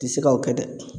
Ti se ka o kɛ dɛ